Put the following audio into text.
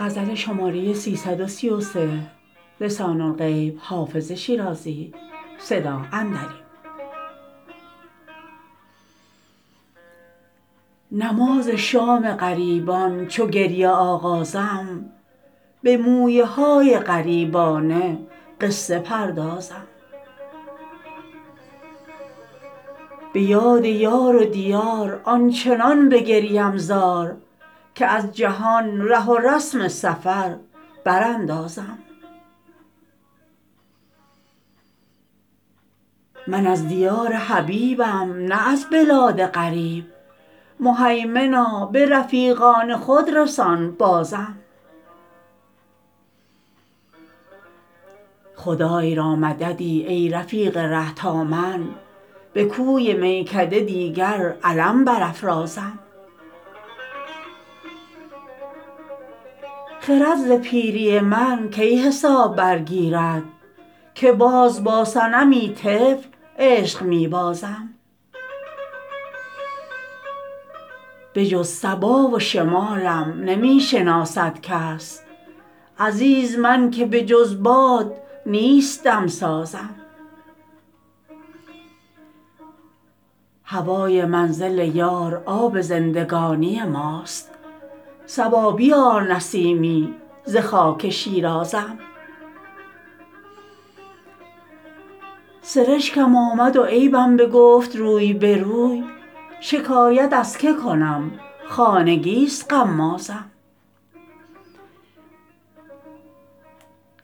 نماز شام غریبان چو گریه آغازم به مویه های غریبانه قصه پردازم به یاد یار و دیار آنچنان بگریم زار که از جهان ره و رسم سفر براندازم من از دیار حبیبم نه از بلاد غریب مهیمنا به رفیقان خود رسان بازم خدای را مددی ای رفیق ره تا من به کوی میکده دیگر علم برافرازم خرد ز پیری من کی حساب برگیرد که باز با صنمی طفل عشق می بازم بجز صبا و شمالم نمی شناسد کس عزیز من که بجز باد نیست دم سازم هوای منزل یار آب زندگانی ماست صبا بیار نسیمی ز خاک شیرازم سرشکم آمد و عیبم بگفت روی به روی شکایت از که کنم خانگی ست غمازم